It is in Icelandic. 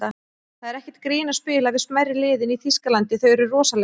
Það er ekkert grín að spila við smærri liðin í Þýskalandi, þau eru rosaleg.